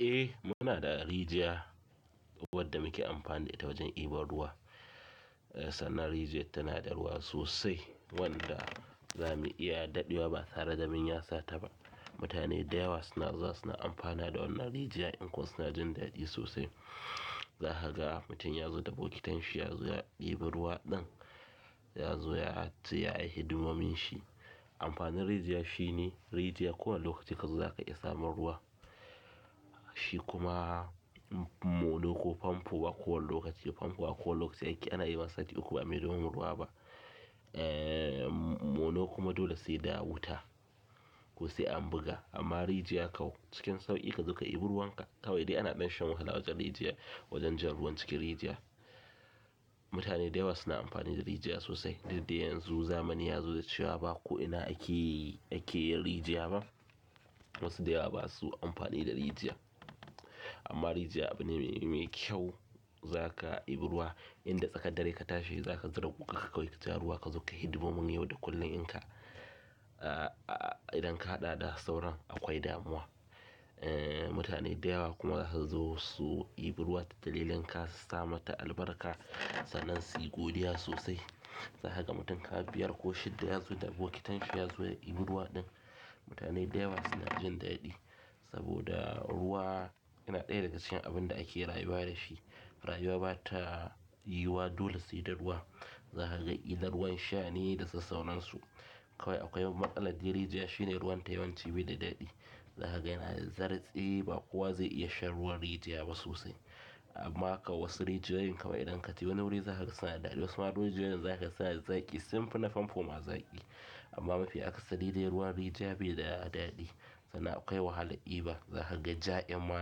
Eh muna da rijiya wadda muke amfani da ita wajen daibo ruwa. Sana rijiya tana da ruwa sosai wanda za mu iya daɗewa ba tare da mun ya sata ba. Mutane da yawa suna zuwa suna amfana da wannan rijiya inko suna jin daɗi sosai. Za ka ga mutum ya zo da bokitan shi ya zo ɗibi ruwa ɗin ya zo ya ts yi hidimomin shi. Amfanin rijiya shine rijiya ko wanne lokaci ka zo za ka iya samun ruwa. Shi kuma mono ko famfo ba kowane lokaci famfo a ko wanne lokaci ake ana yi sati uku ba'a mai don famfo ruwa ba. Eh mono kuma dole sai da wuta ko sai an buga amma rijiya kau cikin sauƙi ka zo ka diɓi ruwan ka. Kawai dai ana ɗan shan wahala wajen rijiya wajen jan ruwan cikin rijiya. Mutane da yawa suna amfani da rijiya sosai. Duk da yanzu zamani ya zo da cewa ba ko ina ake ake yin rijiya ba. Wasu da yawa ba su amfani da rijiya amma rijiya abu ne me kyau za ka iɓi ruwa inda tsakar dare ka tashi za ka zira guga kawai ka ja ruwa ka zo ka yi hidimomin yau da kullum in ka idan ka haɗa da sauran akwai damuwa. Eh mutane da yawa kuma za su zo su diɓi ruwa ta dalilin su sa mata albarka sanan su yi godiya sosai. Za ka ga mutum ka biyar ko shidda ya zo da bokitan shi ya zo ya diɓi ruwa ɗin. Mutane da yawa suna jin daɗi saboda ruwa yana ɗaya daga cikin abun da ake rayuwa da shi. Rayuwa ba ta yiwuwa dole sai da ruwa. Zakaga killan ruwan sha da sa sauran su kawai akwai matsalar dai rijiya shine ruwan ta yawanci bayada daɗi. Za ka ga yana da zartsi tsaye ba kowa zai iya shan ruwan rijiya ba sosai. Amma kam wasu rijiyoyin kawai idan ka ci wani wuri za ka ga suna da daɗi. Wasu ma rijiyoyin za ka ga suna da zaƙi sun fi na famfo ma zaƙi. Ama mafi akasari dai ruwan rijiya bai da daɗi sannan akwai wahala ɗiba zakaga ja ɗin ma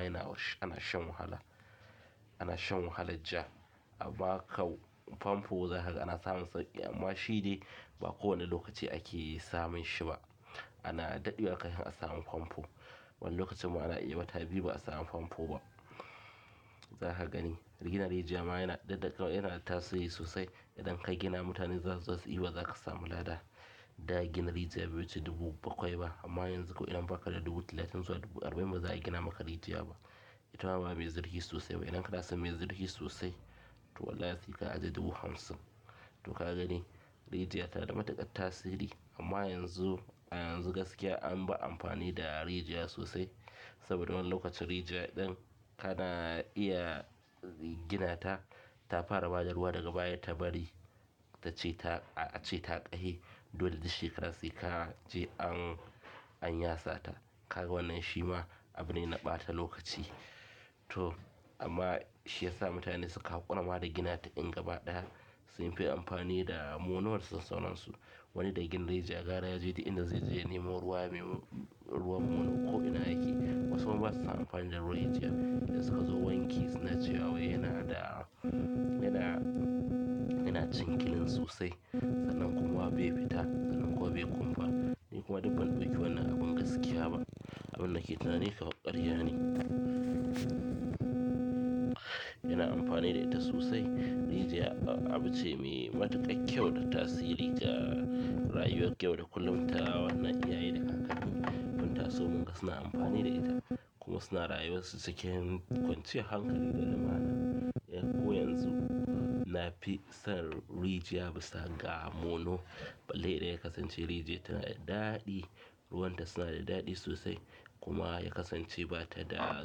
ana shan wahala ana shan wahala ja amma kan famfo za ka ga ana samun sauƙi amma shi dai ba ko wanne lokaci ake samun shi ba. Ana daɗewa kafin a samu famfo. Wani lokacin ma ana iya wata biyu ba a samu famfo ba. Za ka gani ginar rijiya ma yana daɗaƙau yana tasiri sosai. Idan ka gina mutane za su zo su diɓa za ka samu lada. Da gina rijiya bai wuce dubu bakwai ba ama yanzu ko idan bakada dubu talatin zuwa dubu arbain baza a ginama rijiya ba ita ma ba me zurfi sosai ba idan ka dasa me zurfi sosai to wallahi sai ka ajiye dubu hamsin. Tau kagani rijiya tana da matuƙar tasiri ama yanzu a yanzu an bar amafani da rijiya sosai saboda wanni lokacin rijiya ɗin kana iya ginata ta fara bada ruwa daga baya ta bari ta ce ta a ce ta ƙafe dole duk shekara sai ka je an an ya sata. Ka ga wannan shi ma abu ne na ɓata lokaci. To amma shi ya sa mutane suka haƙura ma da gina ta in gaba ɗaya sun fi amfani da monor da sas sauransu. Wani da ya gina rijiya gara ya je duk inda zai je ya nemo ruwa nemo ruwan monor ko ina yake wasu basu son amfani da ruwan rijiya in suka zo wanki suna cewa wai yanada yana yana cin kilin sosai sanan kuma bai fita sanan kuma bai kumfa. Ni kuma duk banɗauki wannan abin gaskiya ba. Abun nake tunani kaman ƙarya ne. Yana amfani da ita sosai. Rijiya abu ce me matuƙar kyau da tasiri ga rayuwar yau da k ullum ta wannan iyaye. Mun taso munga suna amfani da ita kuma suna rayuwa su cikin kwanciyar hankali da limana. Eh ko yanzu na fi son rijiya bisa ga mono. Balai idan ya kasance rijiya tana da daɗi. Ruwan ta suna da daɗi sosai kuma ya kasance ba ta da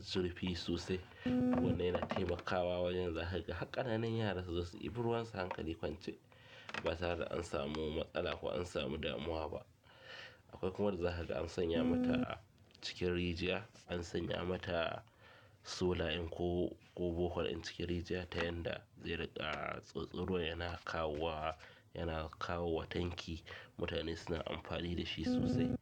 zurfi sosai. Wannan yana taimakawa wajen za ka ga har ƙananan yara za su diɓi ruwan su hankali kwance ba tare an samu matsala ko an samu damuwa ba. Akwai kuma wadda za ka ga an sanya mata cikin rijiya an sanya mata sola in ko ko bohol ɗin cikin rijiya ta yanda zai riƙa tsotso ruwan yana kawo wa yana kawo wa tanki mutane suna amfani da shi sosai.